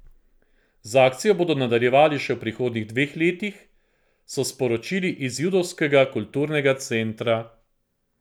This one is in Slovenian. Z akcijo bodo nadaljevali še v prihodnjih dveh letih, so sporočili iz Judovskega kulturnega centra.